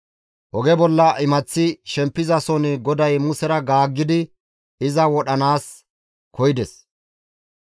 Oge bolla imaththi shempizason GODAY Musera gaaggidi iza wodhanaas koyides.